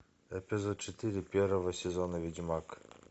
эпизод четыре первого сезона ведьмак